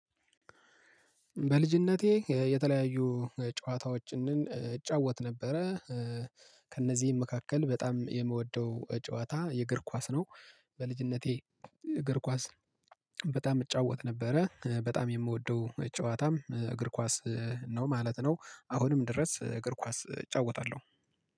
በልጅነቴ የተለያዩ ጨዋታዎችን እጫወት ነበረ ከእነዚህም መካከል በጣም የምወደው ጨዋታ የእግር ኳስ ነው። በልጅነቴ እግር ኳስ በጣም እጫወት ነበረ በጣም የምወደው ጨዋታም እግር ኳስ ነው ማለት ነው። አሁንም ድረስ እግር ኳስ እጫወታለሁ